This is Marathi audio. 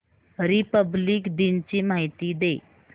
रिपब्लिक दिन ची माहिती दे